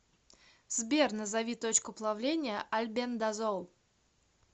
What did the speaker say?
сбер назови точку плавления альбендазол